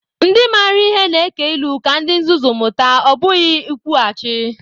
Ndị maara ihe na-eke ilu ka ndị nzuzu mụta, ọ bụghị ikwughachi.